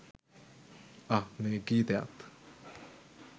අහ් මේ ගීතයත්